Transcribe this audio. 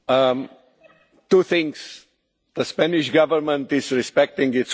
Two things the Spanish Government is respecting its Constitution...